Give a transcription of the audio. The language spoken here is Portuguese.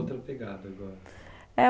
Outra pegada agora. É